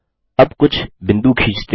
अब कुछ बिंदु खींचते हैं